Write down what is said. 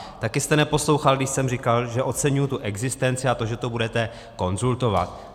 Taky jste neposlouchal, když jsem říkal, že oceňuji tu existenci a to, že to budete konzultovat.